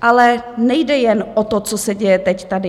Ale nejde jen o to, co se děje teď tady.